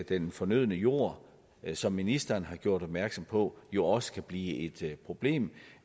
den fornødne jord som ministeren har gjort opmærksom på jo også kan blive et problem